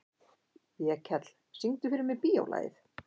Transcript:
Vékell, syngdu fyrir mig „Bíólagið“.